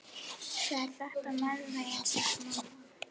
Það er þetta með meðalveginn, segir mamma.